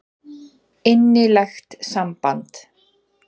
Innilegt samband.